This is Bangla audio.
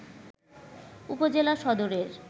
উপজেলা সদরের